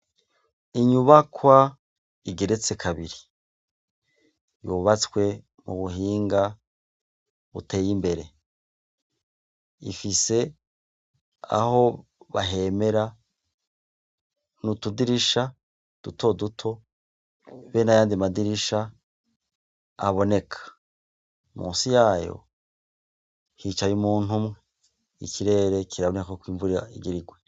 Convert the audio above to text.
Inyubakwa igeretse kabiri yubatswe mu buhinga buteye imbere, ifise aho bahemera, n'utudirisha duto duto be n'ayandi madirisha aboneka, musi yayo hicaye umuntu umwe, ikirere kiraboneka ko imvura igira igwe.